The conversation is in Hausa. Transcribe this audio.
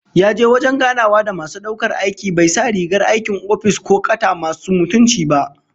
Yaje wajen ganawa da masu daukar aiki bai sa rigar aikin office ko kata masu mutunci ba